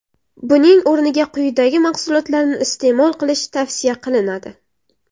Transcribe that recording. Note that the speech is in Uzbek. Buning o‘rniga quyidagi mahsulotlarni iste’mol qilish tavsiya qilinadi.